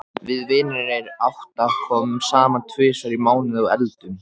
Við vinirnir átta komum saman tvisvar í mánuði og eldum.